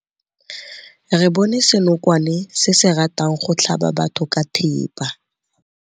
Re bone senokwane se se ratang go tlhaba batho ka thipa.